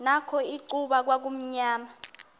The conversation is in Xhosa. nakho icuba kwakumnyama